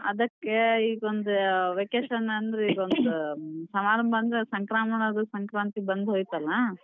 ಅದಕ್ಕೆ ಈಗ ಒಂದ್ vacation ಅಂದ್ರ್ ಈಗೊಂದ್ ಸಮಾರಂಭ ಅಂದ್ರ್ ಸಂಕ್ರಮಣದು ಸಂಕ್ರಾಂತಿ ಬಂದ್ ಹೊಯ್ತಲ್ಲ.